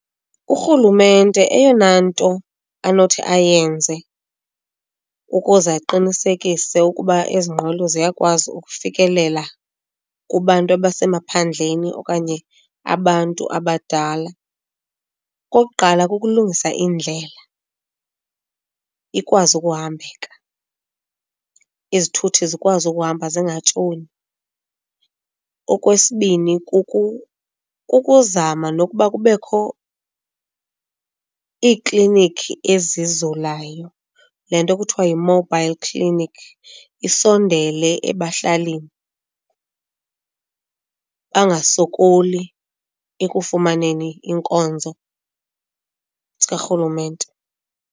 Urhulumente eyona nto anothi ayenze ukuze aqinisekise ukuba ezi nqwelo ziyakwazi ukufikelela kubantu abasemaphandleni okanye abantu abadala, okokuqala kukulungisa indlela ikwazi ukuhambeka, izithuthi zikwazi ukuhamba zingatshoni. Okwesibini, kukuzama nokuba kubekho iiklinikhi ezizulayo, le nto kuthiwa yi-mobile clinic isondele ebahlalini bangasokoli ekufumaneni iinkonzo zikarhulumente.